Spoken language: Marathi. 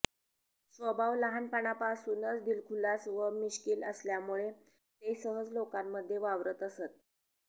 स्वभाव लहानपणापासूनच दिलखुलास व मिश्कील असल्यामुळे ते सहज लोकांमध्ये वावरत असत